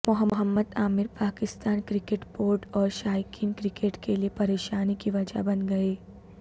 محمد Amir Pakistan cricket board اور شائقین cricket کےلئے پریشانی کی وجہ بن گئے